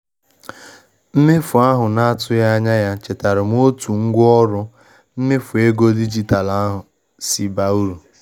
Mmefu ahụ na-atụghị anya ya chetaara m otu ngwaọrụ mmefu ego dijitalụ si baa uru.